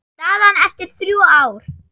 Staðan eftir þrjú ár?